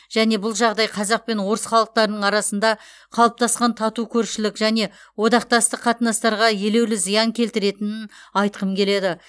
және бұл жағдай қазақ пен орыс халықтарының арасында қалыптасқан тату көршілік және одақтастық қатынастарға елеулі зиян келтіретінін айтқым келеді